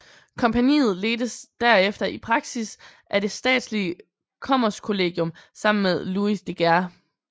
Kompagniet ledtes derefter i praksis af det statslige Kommerskollegium sammen med Louis de Geer